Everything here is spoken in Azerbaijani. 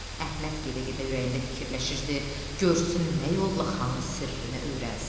Əhməd gedə-gedə ürəyində fikirləşirdi, görsün nə yolla xanın sirrini öyrənsin.